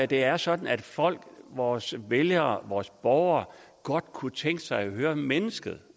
det er sådan at folk vores vælgere vores borgere godt kunne tænke sig at høre mennesket